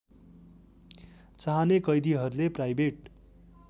चाहने कैदीहरूले प्राइभेट